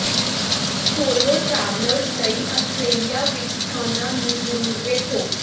solo travellers ਲਈ Australia ਵਿਚ ਸਥਾਨਾਂ ਨੂੰ ਜ਼ਰੂਰ ਵੇਖੋ